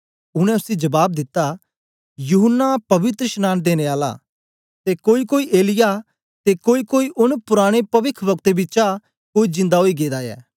उनै उसी जबाब दिता यूहन्ना पवित्रशनांन देने आला ते कोई कोई एलिय्याह ते कोई कोई औने पुराने पविखवक्तें चा कोई जिन्दा ओई गेदा ऐ